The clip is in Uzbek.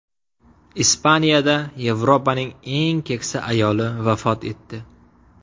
Ispaniyada Yevropaning eng keksa ayoli vafot etdi.